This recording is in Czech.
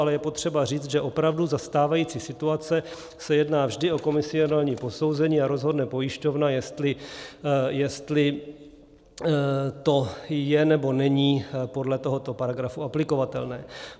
Ale je potřeba říci, že opravdu za stávající situace se jedná vždy o komisionální posouzení a rozhodne pojišťovna, jestli to je, nebo není podle tohoto paragrafu aplikovatelné.